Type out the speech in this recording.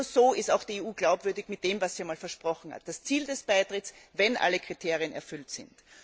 Denn nur so ist auch die EU glaubwürdig in Bezug auf das, was sie einmal versprochen hat das Ziel des Beitritts, wenn alle Kriterien erfüllt sind.